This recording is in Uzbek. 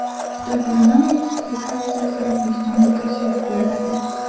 Xitoy parlamenti delegatsiyasi O‘zbekistonga tashrif buyuradi.